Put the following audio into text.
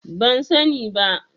Ban sani ba.